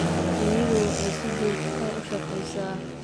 Shinnidu waxay si joogto ah u shaqeysaa.